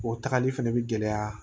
O tagali fɛnɛ bi gɛlɛya